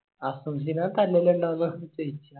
ഹസ്സൻ തല്ലില്ലണ്ടാകുമെന്ന് ഒർപ്പിച്ചിന്